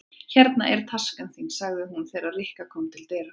Hérna er taskan þín sagði hún þegar Rikka kom til dyra.